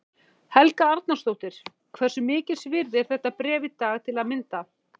Helga Arnardóttir: Hversu mikils virði er þetta bréf í dag til að mynda?